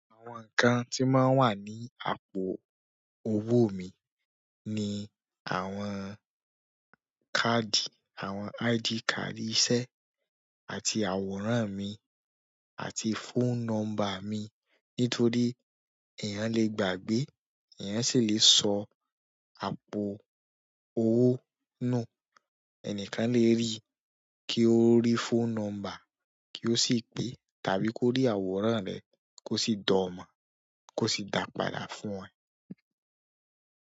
Àwọn nǹkan tí máa ń wà ní àpò òwó mi ni àwọn káàdì, àwọn ID card iṣẹ́ àti àwòrán mi àti phone number mi. Nítòrí èèyàn lè gbàgbé, èèyàn sì lè sọ àpò owó nù. Ẹnìkàn lè rí kí ó rí phone number kí ó sì pè, tàbí kó rí àwòrán rẹ̀ kó sì dọ̀ọ́ mọ̀ kó sì dá padà fún ẹ.